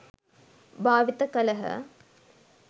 භාවිත කළහ.